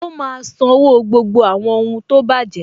Ó má a sanwó gbogbo àwọn ohun tó bàjẹ́